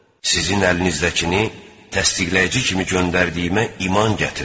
Sizin əlinizdəchini təsdiqləyici kimi göndərdiyimə iman gətirin.